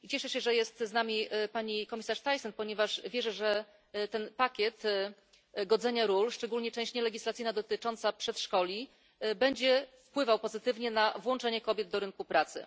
Cieszę się, że jest tu z nami pani komisarz Thyssen, ponieważ wierzę, że ten pakiet godzenia ról, szczególnie część nielegislacyjna dotycząca przedszkoli, będzie wpływał pozytywnie na włączenie kobiet do rynku pracy.